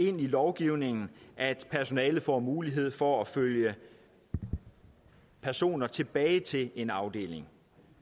ind i lovgivningen at personalet får mulighed for at følge personer tilbage til en afdeling